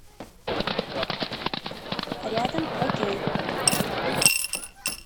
рядом окей